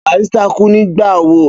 Barrister kú nígbà wo?